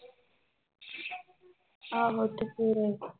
ਆਹੋ ਤੇ ਫਿਰ